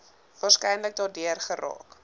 waarskynlik daardeur geraak